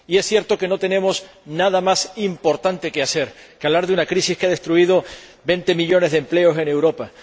Y es cierto que no tenemos nada más importante que hacer que hablar de una crisis que ha destruido 20 millones de empleos en Europa.